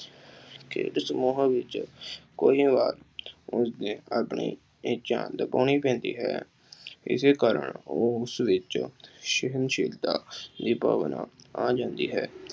ਖੇਡ ਸਮੂਹਾਂ ਵਿੱਚ ਕਈ ਵਾਰ ਆਪਣੀ ਆਪਣੀ ਇੱਛਾ ਲੁਕਾਉਣੀ ਪੈਂਦੀ ਹੈ। ਇਸ ਕਾਰਨ ਉਸ ਵਿੱਚ ਸਹਿਣਸ਼ੀਲਤਾ ਦੀ ਭਾਵਨਾ ਆ ਜਾਂਦੀ ਹੈ।